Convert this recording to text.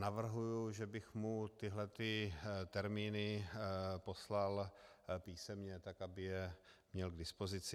Navrhuji, že bych mu tyto termíny poslal písemně tak, aby je měl k dispozici.